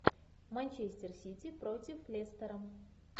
манчестер сити против лестера